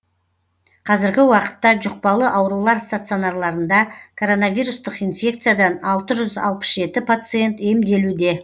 қазіргі уақытта жұқпалы аурулар стационарларында коронавирустық инфекциядан алты жүз алпыс жеті пациент емделуде